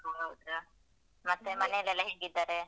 ಹೌದು ಮತ್ತೆ ಮನೆಯಲ್ಲೆಲ್ಲ ಹೇಗಿದ್ದಾರೆ?